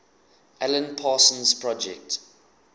alan parsons project